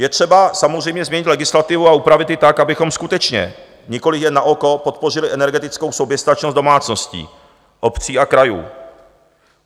Je třeba samozřejmě změnit legislativu a upravit ji tak, abychom skutečně, nikoli jen na oko podpořili energetickou soběstačnost domácností, obcí a krajů.